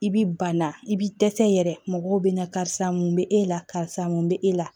I bi banna i b'i dɛsɛ yɛrɛ mɔgɔw bɛ na karisa mun bɛ e la karisa mun bɛ e la